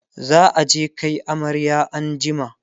za'a je Kai amarya an jima